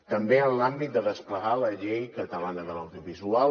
també en l’àmbit de desplegar la llei catalana de l’audiovisual